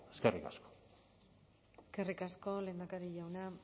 eskerrik asko eskerrik asko lehendakari jauna